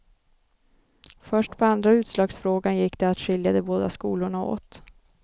Först på andra utslagsfrågan gick det att skilja de båda skolorna åt.